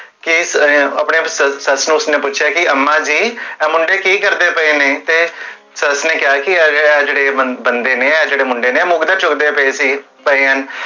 ਕੀ ਆਪਣੇ ਸਸ ਨੂ ਉਸਨੇ ਪੁਛੇਆ, ਕੀ ਅਮ੍ਮਾ ਜੀ ਇਹ ਮੁੰਡੇ ਕੀ ਕਰਦੇ ਪੈ ਨੇ, ਤੇ ਸਸ ਨੇ ਕੇਹਾ ਕੀ ਇਹ ਜੇਹੜੇ ਬੰਦੇ ਨੇ